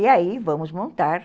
E aí, vamos montar.